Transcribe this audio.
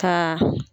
Ka